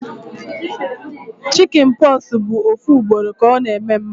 Chicjen pox bụ ofu ugboro ka ọ na eme mmadụ